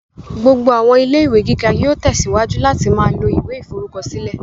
Gbogbo àwọn ilé-ìwé gíga yóò tẹsíwájú láti ma lo ìwé ìforúkọsílẹ̀